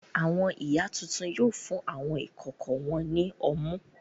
Àwọn ìyá tuntun yóò fún àwọn ìkókó wọn ní ọmú.